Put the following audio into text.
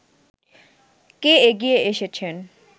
কে এগিয়ে এসেছেন